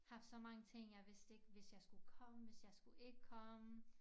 Haft så mange ting jeg vidste ikke hvis jeg skulle komme hvis jeg skulle ikke komme